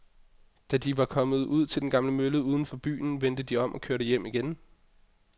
Da de var kommet ud til den gamle mølle uden for byen, vendte de om og kørte hjem igen.